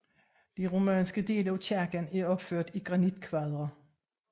De romanske dele af kirken er opført i granitkvadre